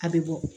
A bɛ bɔ